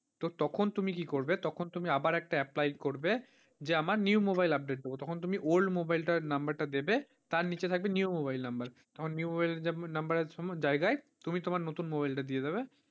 তো তখন তুমি কি করবে, তখন তুমি আবার একটা apply করবে, যে আমার new mobile update দেবে তখন তুমি old mobile টার number টা দেবে তার নিচে থাকবে new mobile number আমার new mobile number এর জায়গায় তুমি তোমার নতুন mobile টা দিয়ে দেবে।